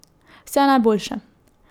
Vse najboljše.